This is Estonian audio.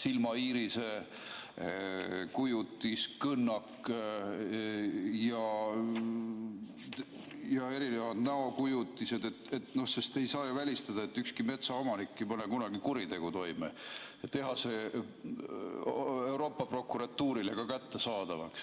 silmaiirise kujutis, kõnnak ja erinevad näokujutised, sest ei saa ju välistada, et ükski metsaomanik pole kunagi kuritegu toime, ja teha see Euroopa prokuratuurile ka kättesaadavaks.